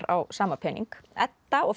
á sama pening Edda og